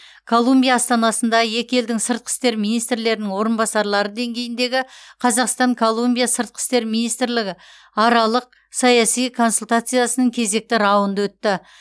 колумбия астанасында екі елдің сыртқы істер министрлерінің орынбасарлары деңгейіндегі қазақстан колумбия сыртқы істер министрлігі аралық саяси консультациясының кезекті раунды өтті